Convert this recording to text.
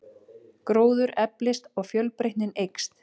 Gróður eflist og fjölbreytnin eykst.